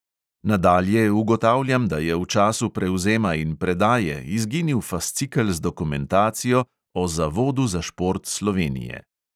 Nadalje ugotavljam, da je v času prevzema in predaje izginil fascikel z dokumentacijo o zavodu za šport slovenije.